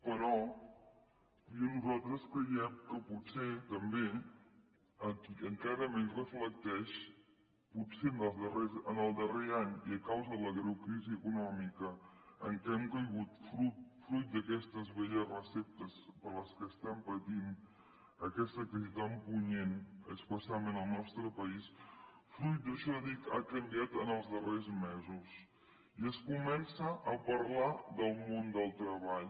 però nosaltres creiem que potser també encara menys reflecteix potser en el darrer any i a causa de la greu crisi econòmica en què hem caigut fruit d’aquestes velles receptes per les quals estem patint aquesta crisi tan punyent especialment al nostre país fruit d’això dic ha canviat en els darrers mesos i es comença a parlar del món del treball